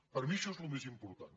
per mi això és el més important